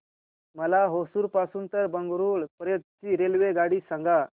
मला होसुर पासून तर बंगळुरू पर्यंत ची रेल्वेगाडी सांगा